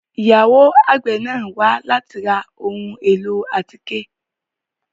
Ìyàwo àgbe náa wa lati ra awọn ohun elo atike